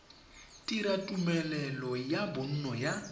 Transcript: dira tumelelo ya bonno ya